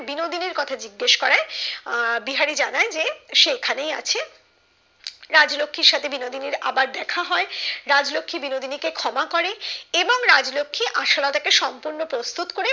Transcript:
বিনোদিনির কথা জিজ্ঞাসা করে আহ বিহারি জানায় যে সে এখানেই আছে রাজলক্ষির সাথে বিনোদিনীর আবার দেখা হয় রাজলক্ষী বিনোদিনী কে ক্ষমা করে এবং রাজলক্ষী আশালতা কে সম্পূর্ণ প্রস্তুত